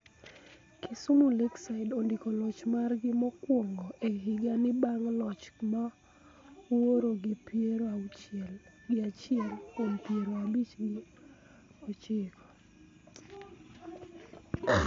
Kisumu Lakeside ondiko loch margi mokwongo e higa ni bang' loch mawuoro gi piero auchiel gi achiel kuom piero abich gi ochiko